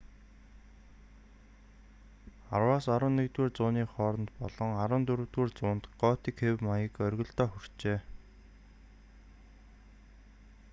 10-11-р зууны хооронд болон 14-р зуунд готик хэв маяг оргилдоо хүрчээ